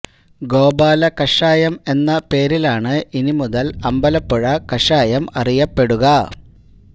ഗോപാല കഷായം എന്ന പേരിലാണ് ഇനി മുതല് അമ്പലപ്പുഴ കഷായം അറിയപ്പെടുക